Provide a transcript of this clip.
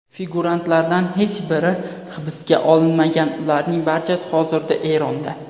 Figurantlardan hech biri hibsga olinmagan, ularning barchasi hozirda Eronda.